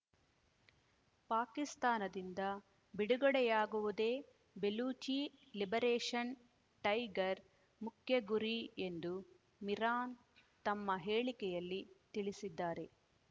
ಪಾಕಿಸ್ತಾನದಿಂದ ಬಿಡುಗಡೆಯಾಗುವುದೇ Baluchi liberation tiger ಮುಖ್ಯ ಗುರಿ ಎಂದೂ ಮಿರಾನ್ ತಮ್ಮ ಹೇಳಿಕೆಯಲ್ಲಿ ತಿಳಿಸಿದ್ದಾರೆ